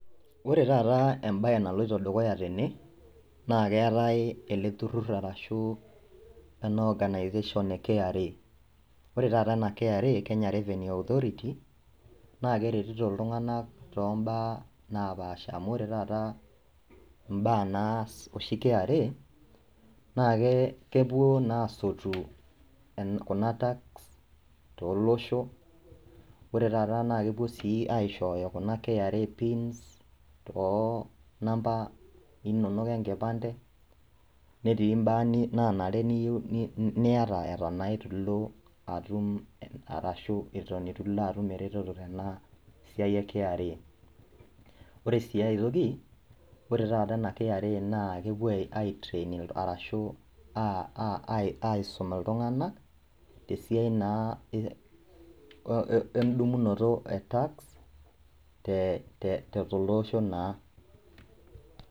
Wore taata embaye naloito dukuya tene